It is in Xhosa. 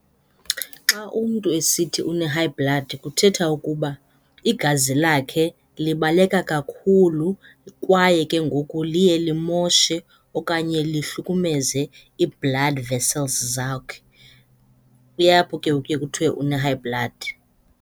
Xa umntu esithi une-high blood kuthetha ukuba igazi lakhe libaleka kakhulu kwaye ke ngoku liye limoshe okanye lihlukumeze ii-blood vessels zawukhe. Kuye apho ke ngoku kuye kuthiwe une-high blood.